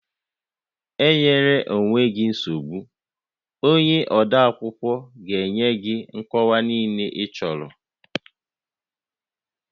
E nyela onwe gị nsogbu, onye odeakwụkwọ ga-enye gị nkọwa niile ịchọrọ